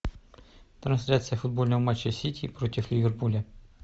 трансляция футбольного матча сити против ливерпуля